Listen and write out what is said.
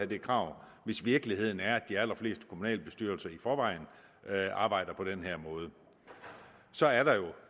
det krav hvis virkeligheden er at de allerfleste kommunalbestyrelser i forvejen arbejder på den her måde så er der jo